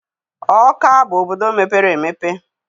Ọka bụ obodo mepere emepe